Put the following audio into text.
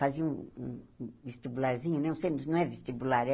Fazia um um um vestibularzinho, né o não é vestibular, é...